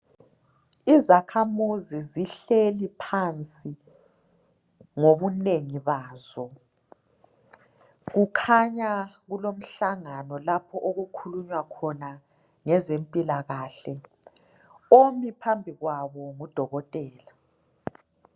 Izakhamuzi zihleli phansi ngokunengi bazo kukhanya kulomhlangano lapho olukhulunya khona ngezempilakahle omi phambi kwabo ngudokotela.